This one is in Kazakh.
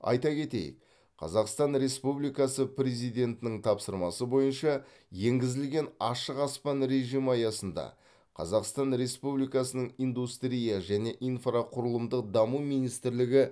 айта кетейік қазақстан республикасы президентінің тапсырмасы бойынша енгізілген ашық аспан режимі аясында қазақстан республикасының индустрия және инфрақұрылымдық даму министрлігі